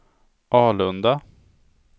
Alunda